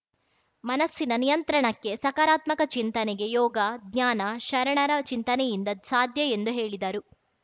ಮನಸ್ಸಿನ ನಿಯಂತ್ರಣಕ್ಕೆ ಸಕಾರಾತ್ಮಕ ಚಿಂತನೆಗೆ ಯೋಗ ಧ್ಯಾನ ಶರಣರ ಚಿಂತನೆಯಿಂದ ಸಾಧ್ಯ ಎಂದು ಹೇಳಿದರು